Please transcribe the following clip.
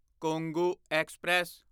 Kongu express